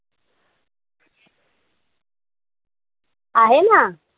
आहे ना.